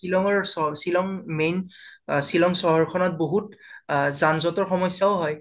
শ্বিলং ৰ চহ শ্বিলং main অ শ্বিলং চহৰ খনত বহোত অ যান যতৰ সমচ্য়াও হয়